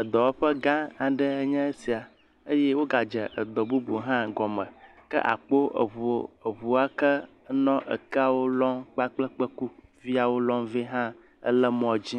Edɔwɔƒe gã aɖe nye esia eye wogadze edɔ bubu hã gɔme ke akpɔ eŋuwo eŋu wa ke nɔ ekeawo lɔm kpakple kpekuviawo lɔm vɛ ha ele mɔ dzi